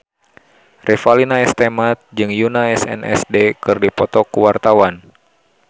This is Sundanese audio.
Revalina S. Temat jeung Yoona SNSD keur dipoto ku wartawan